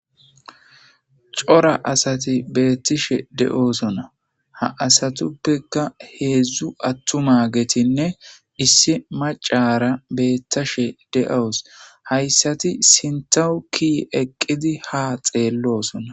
Cora asati beettishe de'oosona ha asatuppeka heedzdzu attuma getinne issi macara beettashe de'owus hayssati sintawuki eqqidi ha xeellosona.